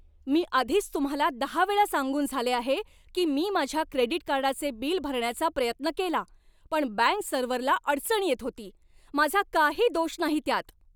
मी आधीच तुम्हाला दहा वेळा सांगून झाले आहे की मी माझ्या क्रेडिट कार्डाचे बिल भरण्याचा प्रयत्न केला पण बँक सर्व्हरला अडचण येत होती. माझा काही दोष नाही त्यात!